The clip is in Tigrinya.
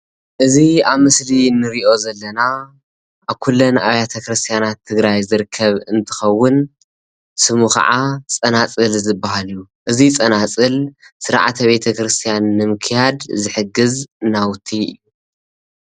እዚ ኣብ ምስሊ እንሪኦ ዘለና ኣብ ኩለን ኣብያተ ክርስትያናት ትግራይ ዝርከብ እንትከውን ስሙ ክዓ ፀናፅል ዝብሃል እዩ። እዚ ፀናፅል ስርዓተ ቤተ ክርስትያን ንምክያድ ዝሕግዝ ናውቲ እዩ፡፡